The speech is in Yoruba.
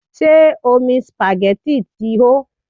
Ṣé omi supagẹ́tì ti hó?